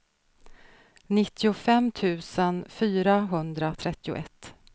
nittiofem tusen fyrahundratrettioett